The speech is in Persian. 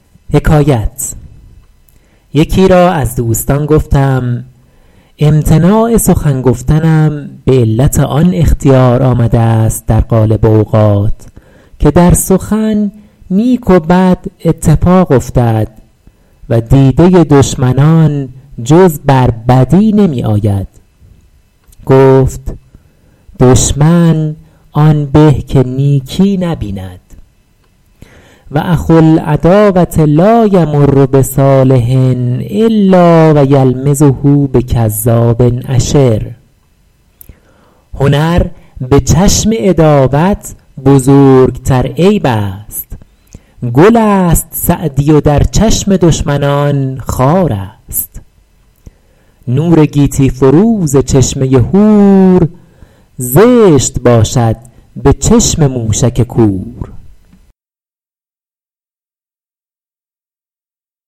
یکی را از دوستان گفتم امتناع سخن گفتنم به علت آن اختیار آمده است در غالب اوقات که در سخن نیک و بد اتفاق افتد و دیده دشمنان جز بر بدی نمی آید گفت دشمن آن به که نیکی نبیند و اخو العداوة لا یمر بصالح الا و یلمزه بکذاب اشر هنر به چشم عداوت بزرگتر عیب است گل است سعدی و در چشم دشمنان خار است نور گیتی فروز چشمه هور زشت باشد به چشم موشک کور